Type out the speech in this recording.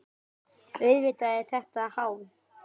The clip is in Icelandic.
Auðvitað er þetta háð.